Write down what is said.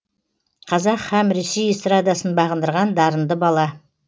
қазақ һәм ресей эстрадасын бағындырған дарынды бала